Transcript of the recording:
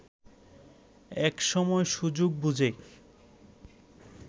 এক সময় সুযোগ বুঝে